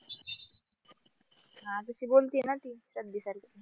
हा ती बोलती ना ती